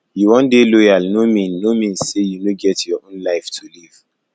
you wan dey loyal no mean no mean sey you no get your own life to live